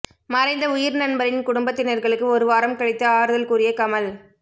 மறைந்த உயிர் நண்பரின் குடும்பத்தினர்களுக்கு ஒரு வாரம் கழித்து ஆறுதல் கூறிய கமல்